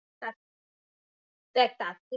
তাতে দেখ তাতে